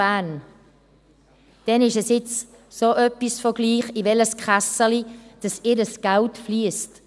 Bern ist es nun so etwas von egal, in welches Kässeli ihr Geld fliesst.